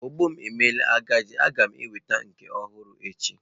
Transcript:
Ogbo m emela agadi, a ga m enweta nke ọhụrụ echi.